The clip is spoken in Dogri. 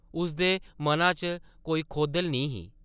उसदे मना च कोई खौधल निं ही ।